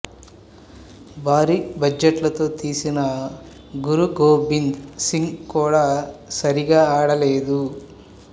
భారీ బడ్జట్ లతో తీసిన గురు గోబింద్ సింగ్ కూడా సరిగా ఆడలేదు